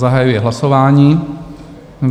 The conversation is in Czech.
Zahajuji hlasování.